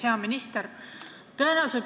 Hea minister!